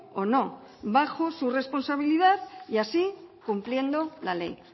o no bajo su responsabilidad y así cumpliendo la ley